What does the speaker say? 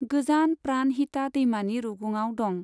गोजान प्राणहिता दैमानि रुगुंआव दं।